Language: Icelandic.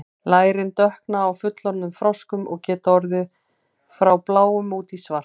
lærin dökkna á fullorðnum froskum og geta orðið frá bláum út í svart